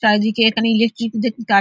চারিদিকে এখানে ইলেক্ট্রিক দে তার--